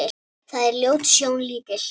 Það er ljót sjón lítil.